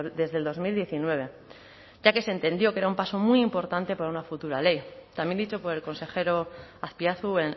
desde el dos mil diecinueve ya que se entendió que era un paso muy importante para una futura ley también dicho por el consejero azpiazu